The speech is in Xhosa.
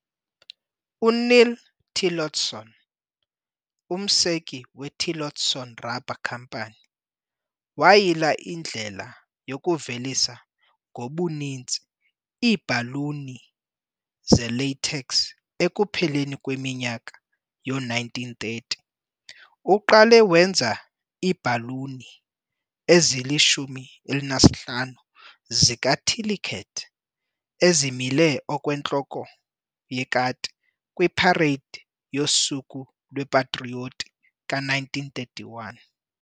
UNeil Tillotson, umseki weTillotson Rubber Company, wayila indlela yokuvelisa ngobuninzi iibhaluni zelatex ekupheleni kweminyaka yoo-1930. Uqale wenza iibhaluni ezili-15 zika "Tilly Cat" ezimile okwentloko yekati kwiparade yoSuku lwePatrioti ka-1931.